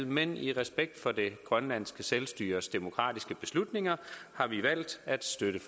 men i respekt for det grønlandske selvstyres demokratiske beslutninger har vi valgt at støtte